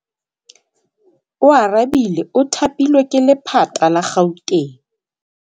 Oarabile o thapilwe ke lephata la Gauteng.